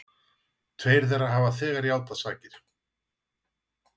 Tveir þeirra hafa þegar játað sakir